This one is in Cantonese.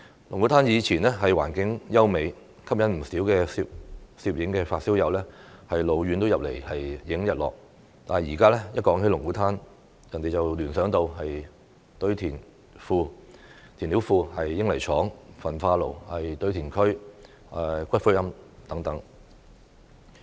龍鼓灘以前環境優美，吸引不少攝影發燒友老遠來拍攝日落，但現在提到龍鼓灘，人們只會聯想到填料庫、英泥廠、焚化爐、堆填區、骨灰龕等。